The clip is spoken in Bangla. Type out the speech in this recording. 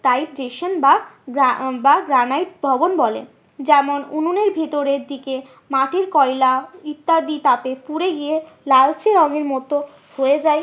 বা বা গ্রানাইট ভবন বলে। যেমন উনুনের ভেতরের দিকে মাটির কয়লা ইত্যাদি তাতে পুড়ে গিয়ে লালচে রঙের মতো হয়ে যায়